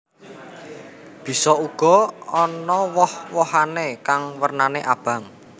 Bisa uga ana woh wohané kang wernané abang